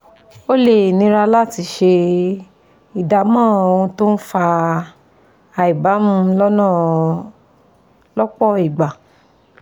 Ó lè nira láti ṣe ìdámọ̀ ohun tó ń fa àìbámú lọ́pọ̀ ìgbà